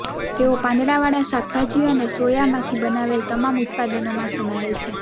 તેઓ પાંદડાવાળા શાકભાજી અને સોયામાંથી બનાવેલ તમામ ઉત્પાદનોમાં સમાયેલ છે